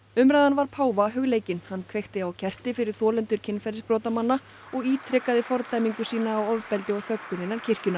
umræðan var páfa hugleikin hann kveikti á kerti fyrir þolendur kynferðisbrotamanna og ítrekaði fordæmingu sína á ofbeldi og þöggun innan kirkjunnar